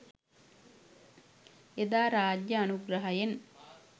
එදා රාජ්‍ය අනුග්‍රහයෙන්